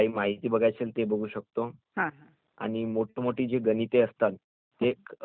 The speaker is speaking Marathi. आणि मोठी मोठी जी गणिते असताता ते अगदी खूप कमी वेळात